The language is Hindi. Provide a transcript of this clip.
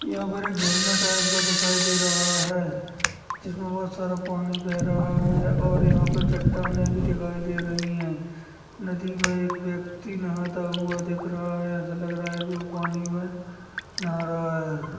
यहाँ पर एक झरना टाइप का दिखाई दे रहा है जिस मे बहुत सारा पानी बह रहा है और यहाँ पे चटाने भी दिखाई दे रही है नदी मे एक व्यक्ति नहाता हुआ दिख रहा है ऐसा लग रहा है वो पानी मे नहा रहा है।